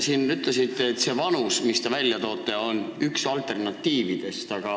Te ütlesite, et teie pakutud vanus on üks alternatiividest.